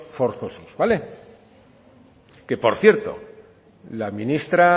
forzosos vale que por cierto la ministra